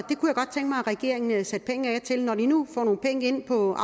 regeringen satte penge af til når de nu får nogle penge ind på